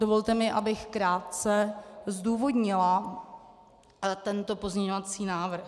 Dovolte mi, abych krátce zdůvodnila tento pozměňovací návrh.